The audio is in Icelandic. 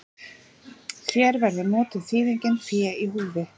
Hér verður notuð þýðingin fé í húfi.